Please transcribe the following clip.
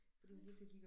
Mh